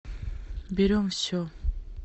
берем все